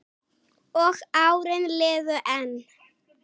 Og árin liðu enn.